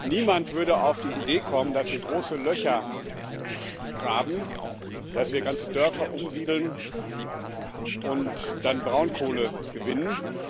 Niemand würde auf die Idee kommen, dass wir große Löcher graben, dass wir ganze Dörfer umsiedeln und dann Braunkohle gewinnen.